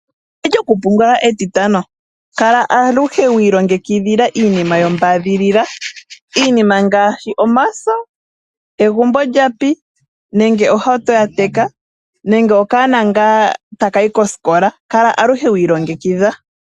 Lyokupungula etitano kala aluhe wi ilongekidhila iinima yombaadhilila ngaashi omaso, egumbo lapi, ohauto yateka, nenge okaana ta kayi kosikola kala aluhe wi ilongekidha.